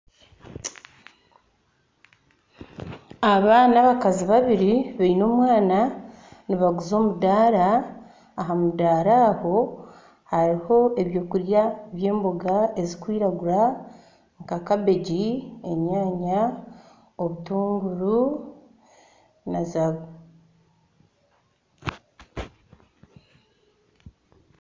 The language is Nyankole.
Aba n'abakazi babiri beine omwana nibaguza omudara, aha mudara aho haruho ebyokurya by'emboga ezikwiragura nka kabegi, enyaanya , obutunguru .